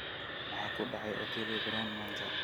maxaa ku dhacay otile brown maanta